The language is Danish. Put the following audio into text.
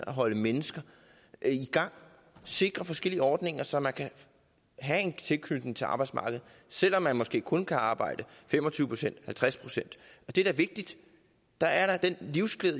at holde mennesker i gang sikrer forskellige ordninger så man kan have en tilknytning til arbejdsmarkedet selv om man måske kun kan arbejde fem og tyve procent eller halvtreds procent det er da vigtigt der er en livsglæde